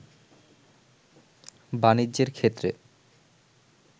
বাণিজ্যের ক্ষেত্রে